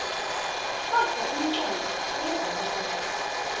kodvwa umcondvo uyevakala